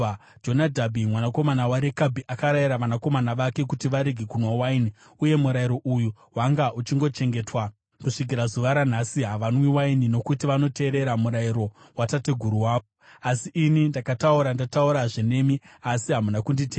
‘Jonadhabhi mwanakomana waRekabhi akarayira vanakomana vake kuti varege kunwa waini uye murayiro uyu wanga uchingochengetwa. Kusvikira zuva ranhasi havanwi waini, nokuti vanoteerera murayiro watateguru wavo. Asi ini ndakataura ndataurazve nemi, asi hamuna kunditeerera.